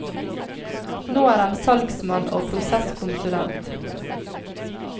Nå er han salgsmann og prosesskonsulent.